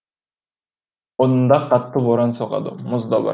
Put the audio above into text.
онда қатты боран соғады мұз да бар